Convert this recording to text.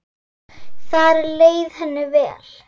Þar leið henni vel.